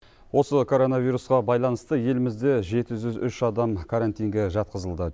осы коронавирусқа байланысты елімізде жеті жүз үш адам карантинге жатқызылды